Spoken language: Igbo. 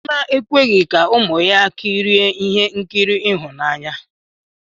Chidinma ekweghị ka ụmụ ya kirie ihe nkiri ịhụnanya.